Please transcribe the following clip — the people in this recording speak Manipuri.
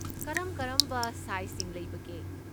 ꯀꯔꯝ ꯀꯔꯝꯕ ꯁꯥꯏꯖꯁꯤꯡ ꯂꯩꯕꯒꯦ?